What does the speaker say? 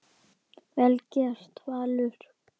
Vel gert, Valur.